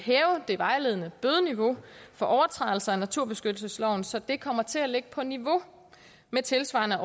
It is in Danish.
vejledende bødeniveau for overtrædelse af naturbeskyttelsesloven så det kommer til at ligge på niveau med tilsvarende